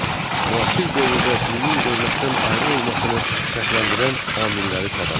Müasir dövrdə dinin dövlətdən ayrı olmasını şərtləndirən amilləri sadala.